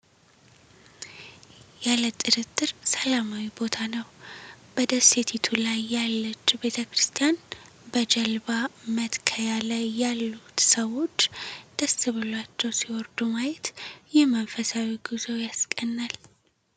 ያለ ጥርጥር ሰላማዊ ቦታ ነው! በደሴቲቱ ላይ ያለች ቤተክርስቲያን! በጀልባ መትከያ ላይ ያሉት ሰዎች ደስ ብሏቸው ሲወርዱ ማየት፣ ይህ መንፈሳዊ ጉዞን ያስቀናል!